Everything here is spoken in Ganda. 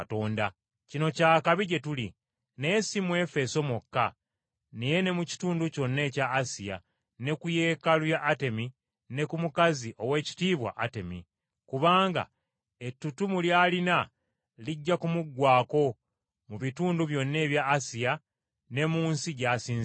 Kino kya kabi gye tuli naye si mu Efeso mwokka naye ne mu kitundu kyonna ekya Asiya ne ku yeekaalu ya Atemi ne ku mukazi Oweekitiibwa Atemi. Kubanga ettutumu ly’alina lijja kumuggwaako, mu bitundu byonna ebya Asiya ne mu nsi gy’asinzibwa.”